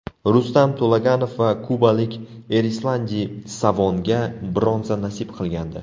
Rustam To‘laganov va kubalik Erislandi Savonga bronza nasib qilgandi.